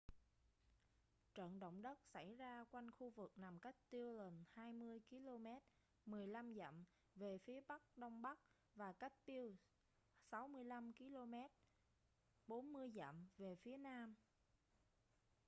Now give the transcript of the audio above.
trận động đất xảy ra quanh khu vực nằm cách dillon 20 km 15 dặm về phía bắc-đông bắc và cách butte 65 km 40 dặm về phía nam